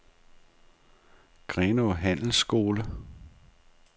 Grenaa Handelsskole